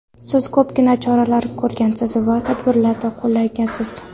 Siz ko‘pgina choralar ko‘rgansiz va tadbirlar qo‘llagansiz.